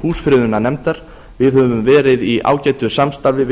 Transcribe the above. húsafriðunarnefndar við höfum verið á ágætu samstarfi